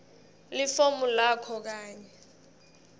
lifomu lakho kanye